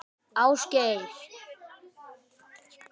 Ásgeir